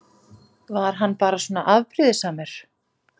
Var hann bara svona afbrýðisamur?